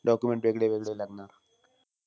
Document वेगळे-वेगळे लागणार.